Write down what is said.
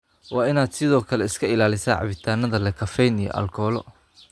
Waa inaad sidoo kale iska ilaalisaa cabitaanada leh kafeyn iyo aalkolo.